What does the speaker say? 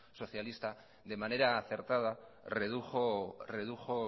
socialista de manera acertada redujo